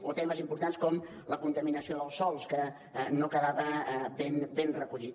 o temes importants com la contaminació dels sòls que no quedava ben recollit